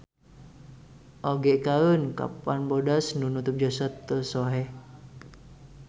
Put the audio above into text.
Oge kaen kapan bodas nu nutup jasad teu soeh.